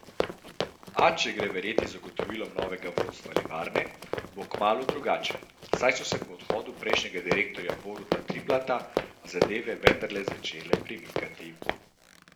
A če gre verjeti zagotovilom novega vodstva livarne, bo kmalu drugače, saj so se po odhodu prejšnjega direktorja Boruta Triplata zadeve vendarle začele premikati.